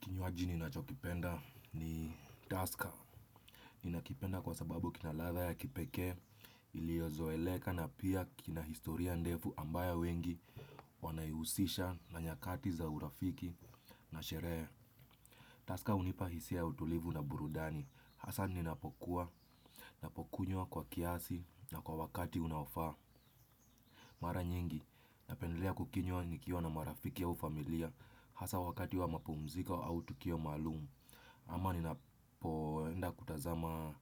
Kinywaji ninacho kipenda ni taska. Ninakipenda kwa sababu kina ladha ya kipekee, iliozoeleka na pia kina historia ndefu ambayo wengi wanaihusisha na nyakati za urafiki na sherehe. Taska hunipa hisia ya utulivu na burudani. Hasa ninapokuwa, napokunywa kwa kiasi na kwa wakati unaofaa. Mara nyingi napendelea kukinywa nikiwa na marafiki au familia. Hasa wakati wa mapumzika au tukio maalumu. Ama ninapoenda kutazama